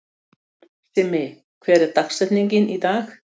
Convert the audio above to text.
Simmi, hver er dagsetningin í dag?